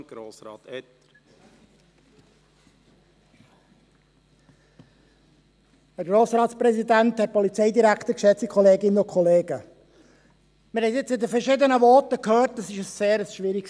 Wir haben nun in den verschiedenen Voten gehört, dass das Thema sehr schwierig ist.